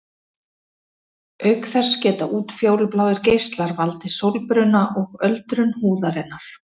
Auk þess geta útfjólubláir geislar valdið sólbruna og öldrun húðarinnar.